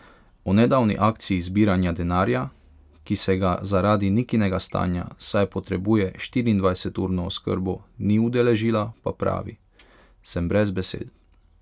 O nedavni akciji zbiranja denarja, ki se ga zaradi Nikinega stanja, saj potrebuje štiriindvajseturno oskrbo, ni udeležila, pa pravi: "Sem brez besed.